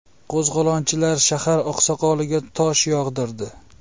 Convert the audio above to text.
Qo‘zg‘olonchilar shahar oqsoqoliga tosh yog‘dirdi.